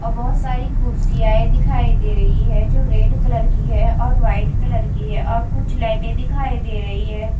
और बहोत सारी कुर्सियांए दिखाई दे रही है जो रेड कलर की है और व्हाइट कलर की है और कुछ लाइटें दिखाई दे रही है।